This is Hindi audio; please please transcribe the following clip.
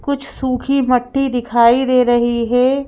कुछ सुखी मट्टी दिखाई दे रही हे ।